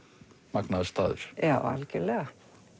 magnaður staður já algjörlega